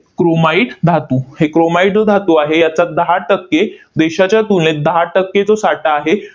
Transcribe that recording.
Chromite धातू. हे chromite जो धातू आहे, याचा दहा टक्के देशाच्या तुलनेत दहा टक्के जो साठा आहे